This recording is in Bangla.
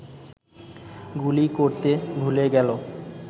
গুলি করতে ভুলে গেল